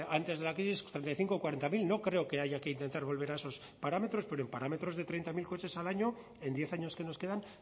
antes de la crisis treinta y cinco cuarentazero no creo que haya que intentar volver a esos parámetros pero en parámetros de treinta mil coches al año en diez años que nos quedan